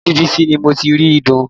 Orí bẹ́ẹ̀dì bísí ni mo ti rí ìdun